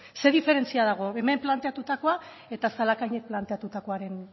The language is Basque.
zer diferentzia dago hemen planteatutakoa eta zalakainek planteatutakoaren